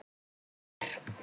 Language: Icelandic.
Hvort ég er.